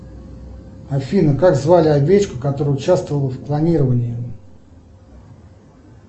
афина как звали овечку которая участвовала в клонировании